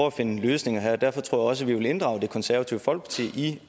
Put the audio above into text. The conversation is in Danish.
at finde løsninger her og derfor tror jeg også at vi vil inddrage det konservative folkeparti i